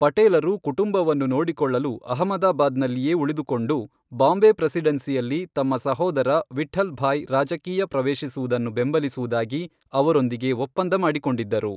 ಪಟೇಲರು ಕುಟುಂಬವನ್ನು ನೋಡಿಕೊಳ್ಳಲು ಅಹಮದಾಬಾದ್ನಲ್ಲಿಯೇ ಉಳಿದುಕೊಂಡು, ಬಾಂಬೆ ಪ್ರೆಸಿಡೆನ್ಸಿಯಲ್ಲಿ ತಮ್ಮ ಸಹೋದರ ವಿಠ್ಠಲ್ ಭಾಯ್ ರಾಜಕೀಯ ಪ್ರವೇಶಿಸುವುದನ್ನು ಬೆಂಬಲಿಸುವುದಾಗಿ ಅವರೊಂದಿಗೆ ಒಪ್ಪಂದ ಮಾಡಿಕೊಂಡಿದ್ದರು.